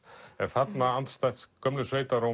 en þarna andstætt gömlu